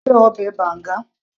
sé o fẹ́ ọbẹ̀ banga